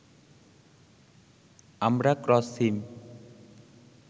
আমরা ক্রস সিম